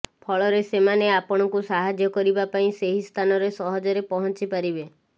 ଫଳରେ ସେମାନେ ଆପଣଙ୍କୁ ସାହାଯ୍ୟ କରିବା ପାଇଁ ସେହି ସ୍ଥାନରେ ସହଜରେ ପହଞ୍ଚି ପାରିବେ